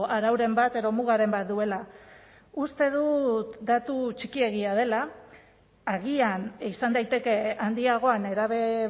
arauren bat edo mugaren bat duela uste dut datu txikiegia dela agian izan daiteke handiagoa nerabe